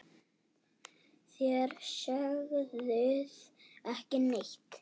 Þér sögðuð ekki neitt!